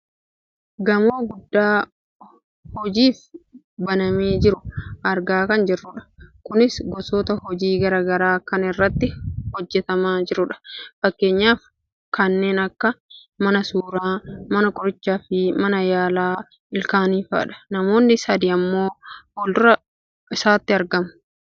gamoo guddaaa hojiif banamee jiru argaa kan jirrudha. kunis gosoota hojii gara garaa kan irratti hojjatamaa jirudha. Fakkeenyaaf kanneen akka, mana suuraa, mana qorichaa fi mana yaala ilkaaniifaadha. namoonni sadi ammoo fuuldura isaatti argamu.